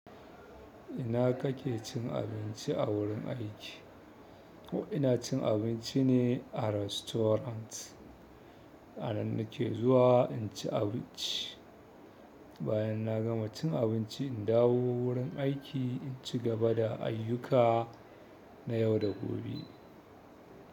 Ina kake cin abinci a wurin aiki? Ina cin abinci ne a rastorant, a nan nake zuwa in ci abinci. Bayan na gama cin abinci, in dawo wurin aiki in cigaba da ayyuka na yau da gobe.